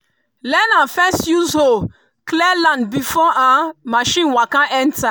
learner first use hoe clear land before machine waka enter.